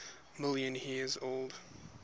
million years old